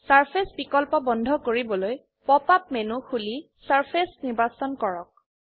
surface বিকল্প বন্ধ কৰিবলৈ পপ আপ মেনু খুলি চাৰ্ফেচেছ নিৰ্বাচন কৰক